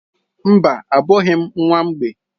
Mba, abụghị m nwa mgbei.